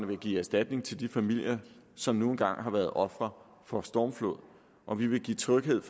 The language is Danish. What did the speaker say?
vil give erstatning til de familier som nu engang har været ofre for en stormflod og vi vil give tryghed